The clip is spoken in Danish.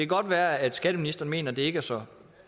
godt være at skatteministeren mener at det ikke er så